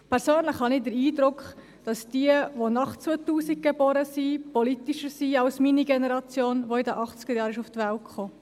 Persönlich habe ich den Eindruck, dass diejenigen, welche nach 2000 geboren sind, politischer sind als meine Generation, die in den 1980er-Jahren auf die Welt kam.